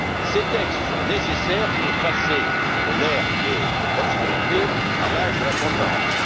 Ces textes sont nécessaires pour passer de l'ère de l'obscurité à l'âge de la transparence.